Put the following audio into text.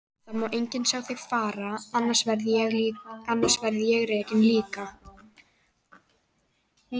Það má enginn sjá þig fara, annars verð ég rekinn líka.